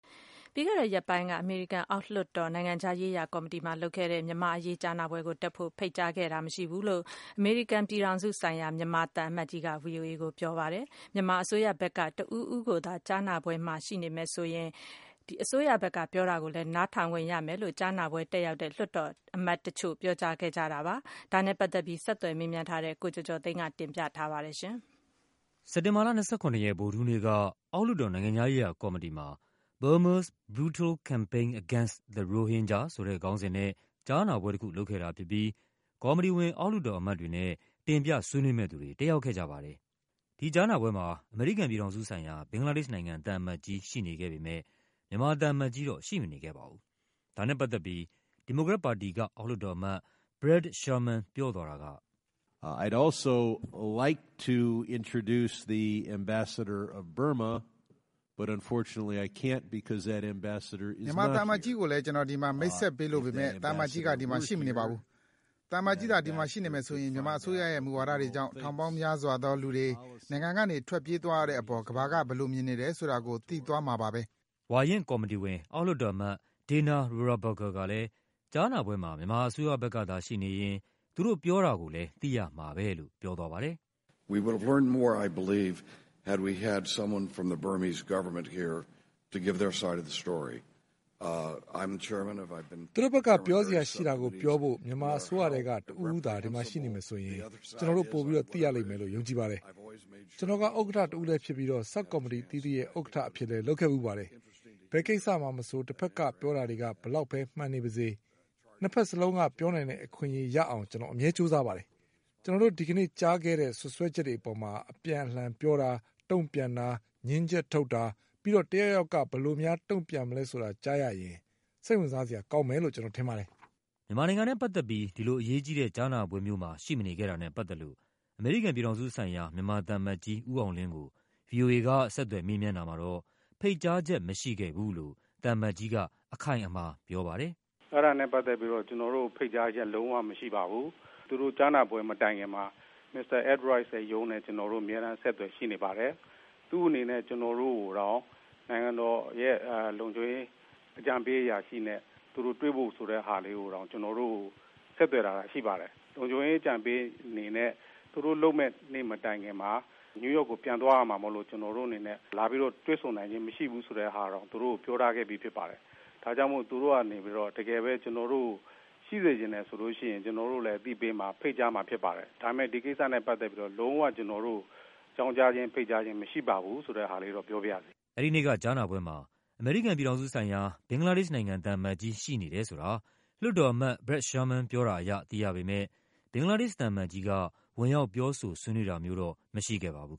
ပြီးခဲ့တဲ့ရက်ပိုင်းက အမေရိကန်အောက်လွှတ်တော်၊ နိုင်ငံခြားရေးရာကော်မတီမှာလုပ်ခဲ့တဲ့ မြန်မာ့အရေးကြားနာပွဲကို မြန်မာ အစိုးရဘက်က တဦးဦးသာ ရှိနေမယ်ဆိုရင် အစိုးရဘက်က တုန့်ပြန် ပြောတာကိုလဲ နားထောင်ခွင့်ရမယ်လို့ ကြားနာပွဲ တက်ရောက်တဲ့ လွှတ်တော်အမတ်တချို့က ပြောခဲ့ကြတာပါ။ ဒါနဲ့ပတ်သက်ပြီး ဆက်သွယ် မေးမြန်းထားတဲ့ ကိုကျော်ကျော်သိန်းက တင်ပြထားပါတယ်။ စက်တင်ဘာလ ၂၇ ရက်၊ ဗုဒ္ဓဟူးနေ့က အောက်လွှတ်တော်၊ နိုင်ငံခြားရေးရာကော်မတီမှာ Burma’s Brutal Campaign Against the Rohingya ဆိုတဲ့ခေါင်းစဉ်နဲ့ ကြားနာပွဲတခုလုပ်ခဲ့တာဖြစ်ပြီး ကော်မတီဝင် အောက်လွှတ်တော်အမတ် တွေနဲ့ တင်ပြ ဆွေးနွေးမယ့်သူတွေ တက်ရောက်ခဲ့ကြပါတယ်။ ဒီကြားနာပွဲမှာ အမေရိကန်ပြည်ထောင်စုဆိုင်ရာ ဘင်္ဂလားဒေ့ရှ်နိုင်ငံ သံအမတ်ကြီး ရှိနေခဲ့ပေမဲ့ မြန်မာသံအမတ်ကြီးတော့ ရှိမနေခဲ့ပါဘူး။ ဒါနဲ့ပတ်သက်ပြီး ဝါရင့်ကော်မတီဝင်တဦးဖြစ်သူ ဒီမိုကရက်ပါတီက အောက်လွှတ်တော်အမတ် Brad Sherman ပြောသွားတာက - “မြန်မာသံအမတ်ကြီးကိုလဲ ကျနော် ဒီမှာ မိတ်ဆက်ပေးလိုပေမဲ့ သံအမတ်ကြီးက ဒီမှာ ရှိမနေပါဘူး။ သံအမတ်ကြီးသာ ဒီမှာ ရှိနေမယ်ဆိုရင် မြန်မာအစိုးရရဲ့မူဝါဒတွေကြောင့် ထောင်ပေါင်းများစွာသောလူတွေ နိုင်ငံကနေ ထွက်ပြေးသွားရတဲ့အပေါ် ကမ္ဘာ က ဘယ်လိုမြင်နေတယ်ဆိုတာကို သိသွားမှာပါပဲ။” ဝါရင့်ကော်မတီဝင် နောက်တဦးဖြစ်တဲ့ အောက်လွှတ်တော်အမတ် Dana Rohrabacher ကလဲ ကြားနာပွဲမှာ မြန်မာအစိုးရဘက် ကသာရှိနေရင် သူတို့ပြောတာကိုလဲ သိရမှာပဲလို့ ပြောသွားပါတယ်။ “သူတို့ဘက်က ပြောစရာရှိတာကိုပြောဖို့ မြန်မာအစိုးရထဲက တဦးဦးသာ ဒီမှာရှိနေမယ်ဆိုရင် ကျနော်တို့ ပိုပြီး သိရလိမ့်မယ်လို့ ယုံကြည်ပါတယ်။ ကျနော်ဟာ ဥက္ကဌတဦးဖြစ်ပြီး ဆပ်ကော်မတီအသီးသီးရဲ့ ဥက္ကဌအဖြစ်လဲ လုပ်ခဲ့ဖူးပါ တယ်။ ဘယ်ကိစ္စမှာမဆို တဘက်ကပြောတာတွေက ဘယ်လောက်ပဲ မှန်နေပါစေ၊ နှစ်ဘက်စလုံးက ပြောနိုင်တဲ့အခွင့်အရေးရ အောင် ကျနော် အမြဲကြိုးစားပါတယ်။ ကျနော်တို့ ဒီကနေ့ကြားခဲ့တဲ့ စွပ်စွဲချက်တွေအပေါ် အပြန်အလှန်ပြောတာ၊ တုန့်ပြန်တာ၊ ငြင်းချက်ထုတ်တာ၊ ပြီးတော့ တယောက်ယောက်က ဘယ်လိုများ တုန့်ပြန်မယ်ဆိုတာ ကြားရရင် စိတ်ဝင်စားစရာကောင်းမယ်လို့ ကျနော်ထင်ပါတယ်။” မြန်မာနိုင်ငံနဲ့ပတ်သက်ပြီး ဒီလိုအရေးကြီးတဲ့ ကြားနာပွဲမျိုးမှာ ရှိမနေခဲ့တာနဲ့ပတ်သက်လို့ အမေရိကန်ပြည်ထောင်စုဆိုင်ရာ၊ မြန်မာ သံအမတ်ကြီး ဦးအောင်လင်းကို ဗွီအိုအေက ဆက်သွယ် မေးမြန်းတာမှာတော့ ဖိတ်ကြားချက်မရှိခဲ့ဘူးလို့ သံအမတ်ကြီးက အခိုင်အမာ ပြောပါတယ်။ “အဲဒါနဲ့ပတ်သက်ပြီးတော့ ကျနော်တို့ကိုဖိတ်ကြားချက် လုံးဝမရှိပါဘူး။ သူတို့ ကြားနာပွဲ မတိုင်ခင်မှာ မစ္စတာ Ed Royce ရဲ့ရုံးနဲ့ ကျနော်တို့ အမြဲတမ်း အဆက်အသွယ် ရှိနေပါတယ်။ သူ့အနေနဲ့ ကျနော်တို့ကိုတောင် နိုင်ငံတော်လုံခြုံရေး အကြံပေးအရာရှိနဲ့ သူတို့တွေ့ဖို့ဆိုတာကိုတောင် ကျနော်တို့ကို ဆက်သွယ် လာတာရှိပါတယ်။ လုံခြုံရေး အကြံပေးအနေနဲ့ သူတို့ လုပ်မယ့်နေ့ မတိုင်ခင်မှာ နယူးယောက် ကို ပြန်သွားရမှာမို့လို့ ကျနော်တို့အနေနဲ့ လာပြီးတော့ တွေ့ဆုံနိုင်ခြင်း မရှိဘူးဆိုတဲ့ ဟာတောင် သူတို့ကို ပြောထားခဲ့ပြီးဖြစ်ပါတယ်။ ဒါကြောင့်မို့ သူတို့ကနေပြီးတော့ တကယ်ပဲ ကျနော်တို့ကို ရှိစေ ချင်တယ်ဆိုလို့ရှိရင် ကျနော်တို့ကိုလဲ အသိပေးမှာ၊ ဖိတ်ကြားမှာဖြစ်ပါတယ်။ ဒါပေမဲ့ ဒီကိစ္စနဲ့ပတ်သက်ပြီးတော့ လုံး၀ ကျနော်တို့ ကို အကြောင်းကြားခြင်း၊ ဖိတ်ကြားခြင်း မရှိပါဘူးဆိုတာ ပြောပါရစေ။” အဲဒီနေ့က ကြားနာပွဲမှာ အမေရိကန်ပြည်ထောင်စုဆိုင်ရာ ဘင်္ဂလားဒေ့ရှ်နိုင်ငံ သံအမတ်ကြီး ရှိနေတယ်ဆိုတာ လွှတ်တော်အမတ် Brad Sherman ပြောတာအရ သိရပေမဲ့ ဘင်္ဂလားဒေ့ရှ်သံအမတ်ကြီးက ဝင်ရောက် ပြောဆို ဆွေးနွေးတာမျိုးတော့ မရှိခဲ့ပါဘူး